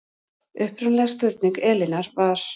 Upprunaleg spurning Elínar var